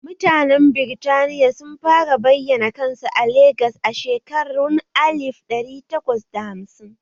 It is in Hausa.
Mutanen Birtaniya sun fara bayana kansu a Legas a shekarun alif ɗari takwas da hamsin